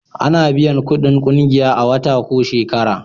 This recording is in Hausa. A na biyan kudin ƙungiya a wata ko shekara